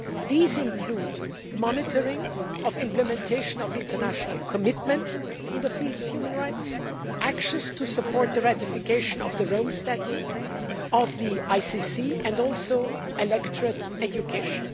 These include monitoring the implementation of international commitments in the field of human rights, actions to support the ratification of the Rome Statute of the ICC and electorate education.